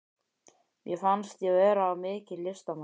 Mér fannst ég vera mikill listamaður.